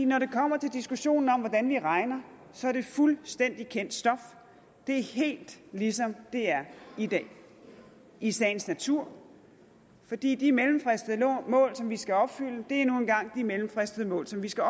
når det kommer til diskussionen om hvordan vi regner så er det fuldstændig kendt stof det er helt ligesom det er i dag i sagens natur fordi de mellemfristede mål som vi skal opfylde nu engang er de mellemfristede mål som vi skal